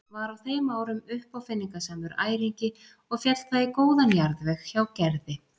Var á þeim árum uppáfinningasamur æringi og féll það í góðan jarðveg hjá Gerði.